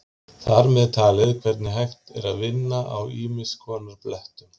Þar með talið hvernig hægt er að vinna á ýmiss konar blettum.